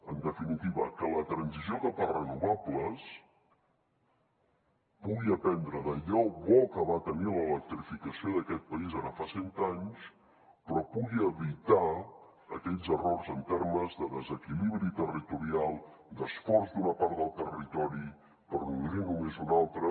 en definitiva que la transició cap a renovables pugui aprendre d’allò bo que va tenir l’electrificació d’aquest país ara fa cent anys però pugui evitar aquells errors en termes de desequilibri territorial d’esforç d’una part del territori per nodrir ne només una altra